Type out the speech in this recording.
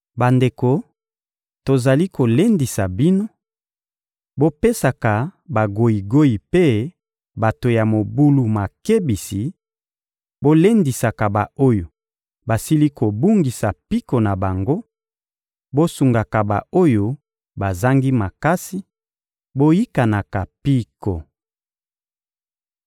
Bandeko, tozali kolendisa bino: bopesaka bagoyigoyi mpe bato ya mobulu makebisi, bolendisaka ba-oyo basili kobungisa mpiko na bango, bosungaka ba-oyo bazangi makasi, boyikanaka mpiko.